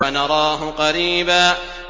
وَنَرَاهُ قَرِيبًا